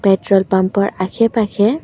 petrol pump ৰ আশে পাশে--